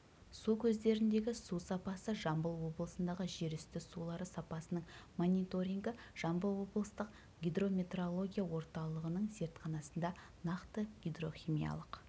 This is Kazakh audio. су көздеріндегі су сапасы жамбыл облысындағы жер үсті сулары сапасының мониторингі жамбыл облыстық гидрометеорология орталығының зертханасында нақты гидрохимиялық